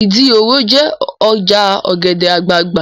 Ìdí òro jẹ́ ọjà ọ̀gẹ̀dẹ̀ àgbagbà